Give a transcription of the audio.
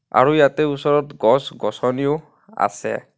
আৰু ইয়াতে ওচৰত গছ গছনী ও আছে.